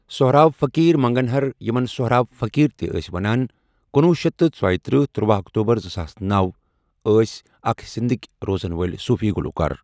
سوہراب فقیٖر مَنگَنہَر یِمن سۄٚہراب فقیٖر تہِ ٲسۍ ونان کنُوُہ شیتھ تہٕ ژیِتٔرہ تٔروۄُہ اکتوبر زٕ ساس نوَ، ٲس اَکھ سِندٕھکۍ روزن وٲلۍ صوفی گلوکار۔